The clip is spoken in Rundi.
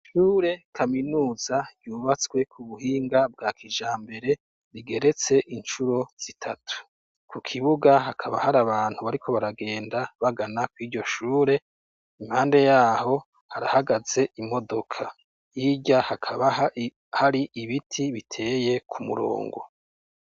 Ishure kaminuza yubatswe kubuhinga bwa kijambere rigeretse incuro zitatu. Kukibuga hakaba har’abantu bariko baragenda bagana kwiryo shure, impande yaho harahagaze imodoka, hirya hakaba har’ibiti biteye kumurongo.